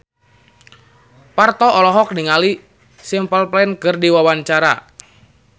Parto olohok ningali Simple Plan keur diwawancara